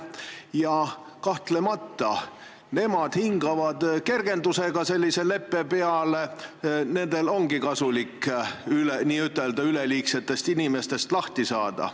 Ja kahtlemata nemad hingavad sellise leppe peale kergendusega, nendel ongi kasulik n-ö üleliigsetest inimestest lahti saada.